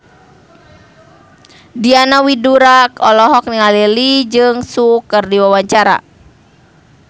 Diana Widoera olohok ningali Lee Jeong Suk keur diwawancara